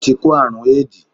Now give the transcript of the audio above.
O ti kó àrún éèdì.